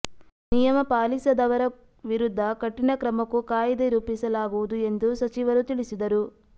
ನಿಯಮ ಪಾಲಿಸದವರ ವಿರುದ್ಧ ಕಠಿನ ಕ್ರಮಕ್ಕೂ ಕಾಯಿದೆ ರೂಪಿಸಲಾಗುವುದು ಎಂದು ಸಚಿವರು ತಿಳಿಸಿದರು